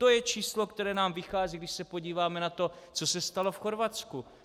To je číslo, které nám vychází, když se podíváme na to, co se stalo v Chorvatsku.